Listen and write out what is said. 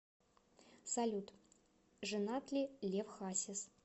салют женат ли лев хасис